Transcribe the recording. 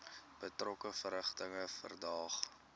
betrokke verrigtinge verdaag